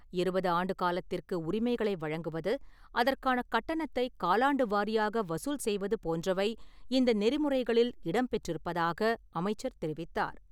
இருபது ஆண்டு காலத்திற்கு உரிமங்களை வழங்குவது, அதற்கான கட்டணத்தைக் காலாண்டு வாரியாக வசூல் செய்வது போன்றவை இந்த நெறிமுறைகளில் இடம் பெற்றிருப்பதாக அமைச்சர் தெரிவித்தார்.